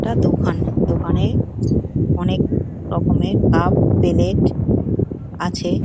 একটা দোকানদোকানে অনেক রকমের কাপ পেলেট আছে |